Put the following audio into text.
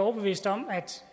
overbeviste om at